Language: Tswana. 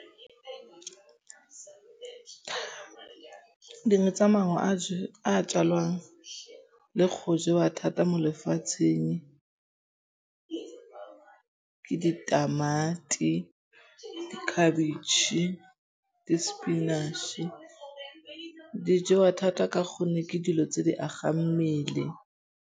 Dingwe tsa maungo a tjalwang le go jewa thata mo lefatsheng ke ditamati, dikhabitšhe, di-spinach-e. Di jewa thata ka gonne ke dilo tse di agang mmele.